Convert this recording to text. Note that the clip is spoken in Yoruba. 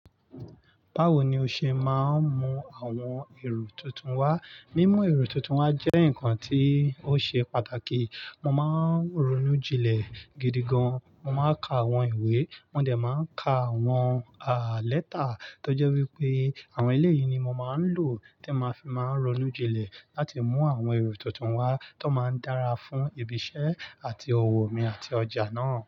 Báwo ni o ṣe máa ń mú àwọn èrò tuntun wá? Mímú èrò tuntun wá jẹ́ nǹkan tí ó ṣe pàtàkì. Mo máa ń ronú jinlẹ̀ gidi gan, mo máa ń ka àwọn ìwé, mo dẹ̀ máa n ka àwọn à lẹ́tà tó jẹ́ wípé àwọn eleyii ni mo máa ń lò tí máa fi máa ń ronú jinlẹ̀ láti mú àwọn èrò tuntun wá tó máa ń dára fún ibi iṣẹ́ àti òwò mi àti ọjà náà.